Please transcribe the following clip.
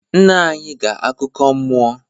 Nna anyi ga akuko mmuo